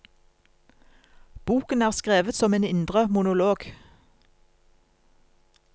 Boken er skrevet som en indre monolog.